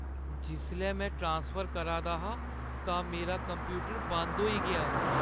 जिसलै में ट्रासफर करा दा हा तां मेरा कंप्यूटर बंद होई गेआ।